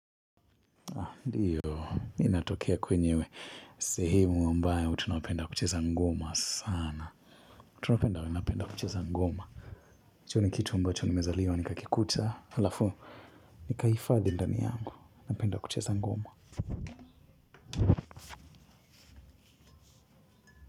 Ndiyo, ninatokea kwenye sehemu ambayo tunapenda kucheza ngoma sana napenda we napenda kucheza ngoma hicho ni kitu ambacho nimezaliwa nikakikuta aLafu, nikaifadhi ndani yangu. Napenda kucheza ngoma.